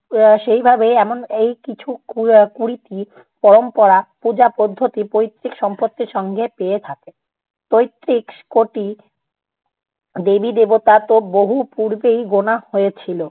আহ সেইভাবে এমন এই কিছু কু~কুড়িটি পরম্পরা পূজা পদ্ধতি পৈতৃক সম্পত্তির সঙ্গে পেয়ে থাকে। পঁয়ত্রিশ কোটি দেবী দেবতা তো বহু পূর্বেই গোণা হয়েছিল।